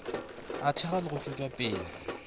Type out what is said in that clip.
a thekgwa le go tšwetšwapele